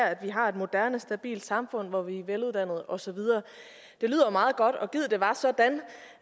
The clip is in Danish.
at vi har et moderne stabilt samfund hvor vi er veluddannede og så videre det lyder jo meget godt og gid det var sådan